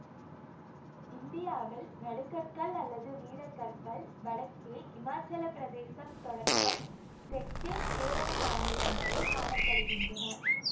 இந்தியாவில் நடுகற்கள் அல்லது வீரக்கற்கள் வடக்கே இமாச்சல பிரதேசம் தொடக்கம் தெற்கில் கேரள மாநிலம் வரை காண படுகின்றன